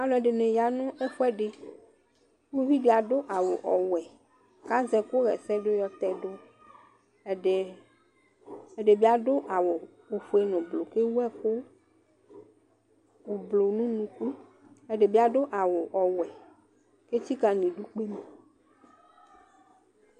Alu ɛdini ya nu ɛfuɛdi, uvi di adu awu ɔwɛ k'azɛ ɛku ɣɛsɛdu yɔ tɛdu ɛdi, k'ɛdi bi adu awu ofue n' ublù k'ewu ɛku ublù n'unuku, k'ɛdi bi adu awu ɔwɛ k'etsika n' idú kpe ma